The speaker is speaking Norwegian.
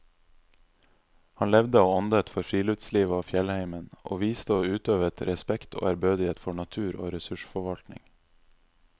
Han levde og åndet for friluftslivet og fjellheimen, og viste og utøvet respekt og ærbødighet for natur og ressursforvaltning.